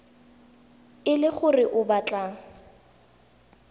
e le gore o batla